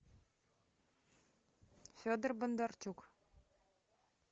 федор бондарчук